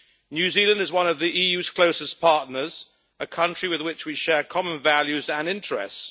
New Zealand is one of the EU's closest partners, a country with which we share common values and interests.